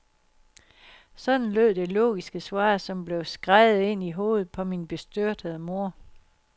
Sådan lød det logiske svar, som blev skreget ind i hovedet på min bestyrtede mor.